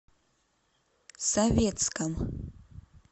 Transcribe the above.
советском